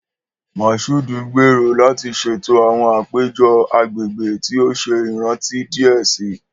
Mashood n gbero lati ṣeto awọn apejọ agbegbe ti o ṣe iranti diẹ sii.